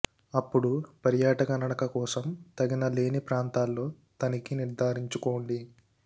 అప్పుడు పర్యాటక నడక కోసం తగిన లేని ప్రాంతాల్లో తనిఖీ నిర్థారించుకోండి